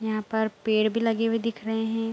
यहां पर पेड़ भी लगे हुए दिख रहे हैं।